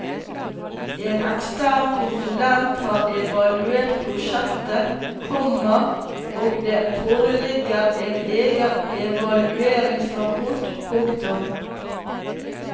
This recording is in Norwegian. En ekstern konsulent har evaluert prosjektet, komma og det foreligger en egen evalueringsrapport. punktum